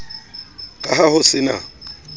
ka ha ho se na